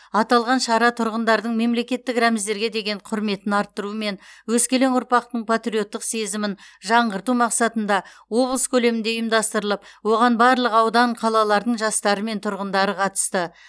аталған шара тұрғындардың мемлекеттік рәміздерге деген құрметін арттыру мен өскелең ұрпақтың патриоттық сезімін жаңғырту мақсатында облыс көлемінде ұйымдастырылып оған барлық аудан қалалардың жастары мен тұрғындары қатысты